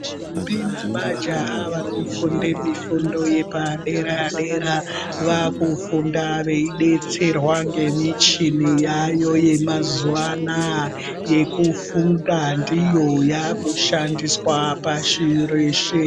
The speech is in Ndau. Ndombi nemajaha vanofunda mifundo yepadera dera vakudetserwa nemichini yayo yemazuva anawa yekufunda ndiyo yakushandiswa pashi reshe.